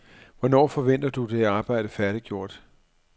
Hvornår forventer du det arbejde færdiggjort?